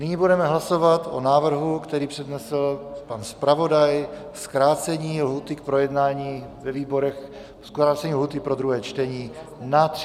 Nyní budeme hlasovat o návrhu, který přednesl pan zpravodaj - zkrácení lhůty k projednání ve výborech, zkrácení lhůty pro druhé čtení na 30 dnů.